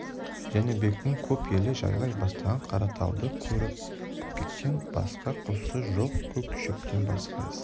жәнібектің көп елі жайлай бастаған қаратауды көріп көкектен басқа құсы жоқ көк шөптен басқа ісі